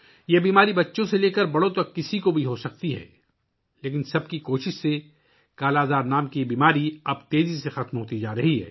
یہ بیماری بچوں سے لے کر بڑوں تک کسی کو بھی ہو سکتی ہے لیکن سب کی کوششوں سے 'کالا آزار' نامی یہ بیماری اب تیزی سے ختم ہو رہی ہے